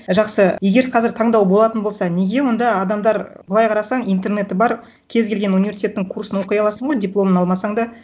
жақсы егер қазір таңдау болатын болса неге онда адамдар былай қарасаң интернеті бар кез келген университеттің курсын оқи аласың ғой дипломын алмасаң да